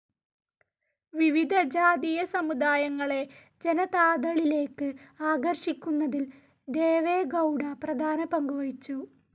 വിവിധ ജാതീയ സമുദായങ്ങളെ ജനതാദളിലേക്ക് ആകർഷിക്കുന്നതിൽ ദേവെഗൗഡ പ്രധാന പങ്കുവഹിച്ചു.